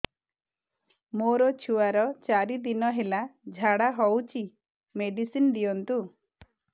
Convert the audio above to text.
ମୋର ଛୁଆର ଚାରି ଦିନ ହେଲା ଝାଡା ହଉଚି ମେଡିସିନ ଦିଅନ୍ତୁ